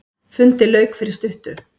Fundi lauk fyrir stuttu.